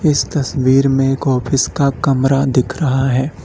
इस तस्वीर में एक ऑफिस का कमरा दिख रहा है।